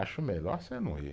Acho melhor você não ir.